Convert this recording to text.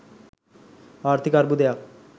ආර්ථික අර්බුදයන්